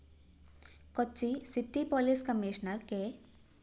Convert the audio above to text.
Kochi city police commissioner K